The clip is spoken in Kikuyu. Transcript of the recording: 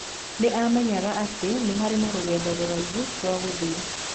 Nĩ aamenyaga atĩ nĩ harĩ na rũgendo rũraihu rwa gũthiĩ.